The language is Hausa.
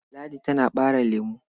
Ladi tana ɓare lemo.